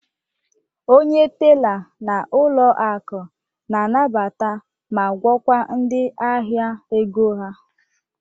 Onye tela n'ụlọ akụ na-anabata ma gwọkwa ndị ahịa ego ha.